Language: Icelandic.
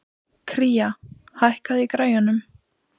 Kría, hækkaðu í græjunum.